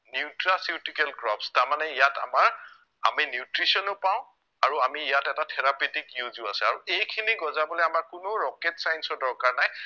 nutraceutical crops তাৰমানে ইয়াত আমাৰ আমি nutrition ও পাও আৰু আমি ইয়াত এটা therapetic use ও আছে আৰু এইখিনি গজাবলে আমাৰ কোনো rocket science ৰ দৰকাৰ নাই